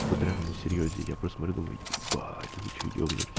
будто реально на серьёзе я просто смотрю думаю ебать да вы что ёбнулись